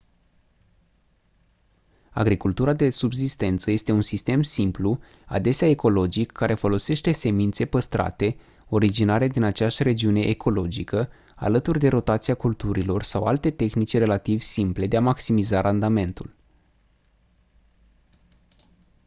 agricultura de subzistență este un sistem simplu adesea ecologic care folosește semințe păstrate originare din aceeași regiune ecologică alături de rotația culturilor sau alte tehnici relativ simple de a maximiza randamentul